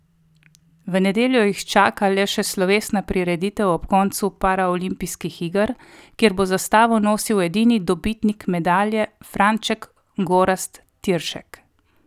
V nedeljo jih čaka le še slovesna prireditev ob koncu paraolimpijskih iger, kjer bo zastavo nosil edini dobitnik medalje Franček Gorazd Tiršek.